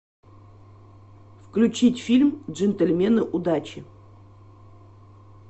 включить фильм джентльмены удачи